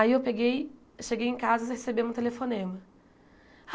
Aí eu peguei... Cheguei em casa e recebemos um telefonema.